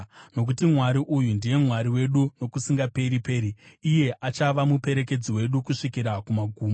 Nokuti Mwari uyu ndiye Mwari wedu nokusingaperi-peri; iye achava muperekedzi wedu kusvikira kumagumo.